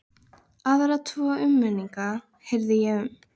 Aðra tvo umrenninga heyrði ég um.